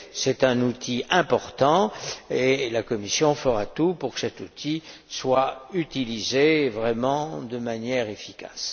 C'est un outil important, et la Commission fera tout pour que cet outil soit utilisé de manière efficace.